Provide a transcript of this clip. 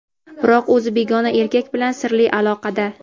biroq o‘zi begona erkak bilan "sirli" aloqada.